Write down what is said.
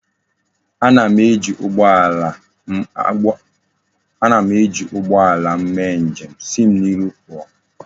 Ana m eji ugboala m eme njem.,Si m n'iru puo!